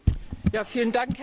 Herr Präsident!